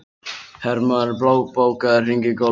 Hermóður, bókaðu hring í golf á fimmtudaginn.